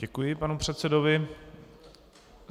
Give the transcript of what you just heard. Děkuji panu předsedovi.